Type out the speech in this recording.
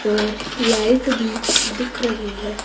और लाइट भी दिख रही है।